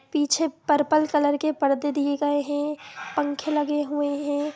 पीछे purple colour के परदे दिए गए है पंखे लगे हुए है।